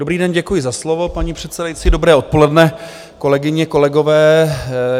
Dobrý den, děkuji za slovo, paní předsedající, dobré odpoledne kolegyně, kolegové.